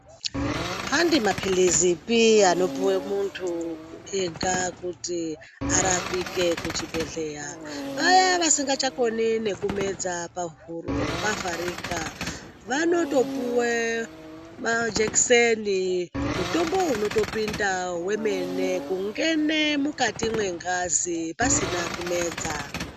Handi mapirizipi anopuwe muntu ega kuti arapike kuchibhedhleya, vaya vasingachakoni nekumedza pahuro pavharika vanotopuwe majekiseni mutombo unotopinda wemene kungene mukati mwengazi pasina kumedza.